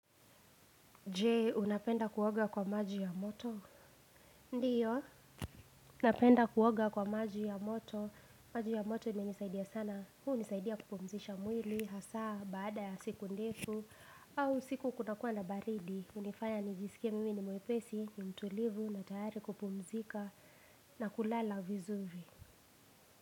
Jee unapenda kuoga kwa maji ya moto ndiyo napenda kuoga kwa maji ya moto majk ya moto imenisaidia sana huu nisaidia kupumzisha mwili hasaa baada ya siku ndefu au siku kuna kuwa nabaridi hunifanya nijisikie mimi ni mwepesi ni mtulivu na tayari kupumzika na kulala vizuvi.